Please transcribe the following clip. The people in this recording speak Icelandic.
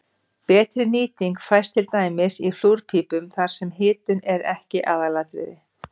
betri nýting fæst til dæmis í flúrpípum þar sem hitun er ekki aðalatriðið